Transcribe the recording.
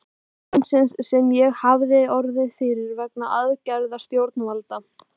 vegna tjóns sem ég hafði orðið fyrir vegna aðgerða stjórnvalda.